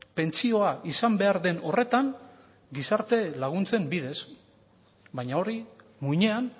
pentsioa izan behar den horretan gizarte laguntzen bidez baina hori muinean